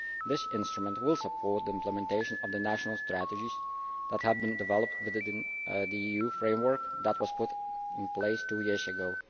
This instrument will support the implementation of the national strategies that have been developed within the EU framework that was put in place two years ago.